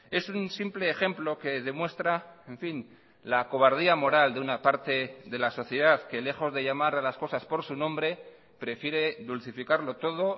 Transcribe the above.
es un simple ejemplo que demuestra en fin la cobardía moral de una parte de la sociedad que lejos de llamar a las cosas por su nombre prefiere dulcificarlo todo